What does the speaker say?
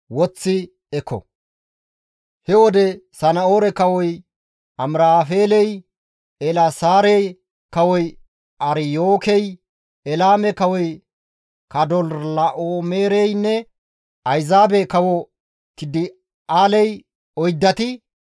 He wode Sana7oore Kawoy Amiraafeeley, Eelaasaare kawoy Aryookey, Elaame kawoy Kadorlaa7oomereynne ayzaabe kawo Tidi7aaley oyddati,